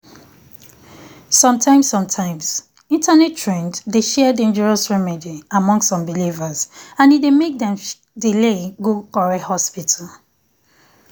sometimes sometimes internet trend dey share dangerous remedy um among some believers and e dey make dem delay um go correct hospital.